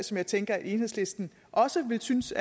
som jeg tænker at enhedslisten også vil synes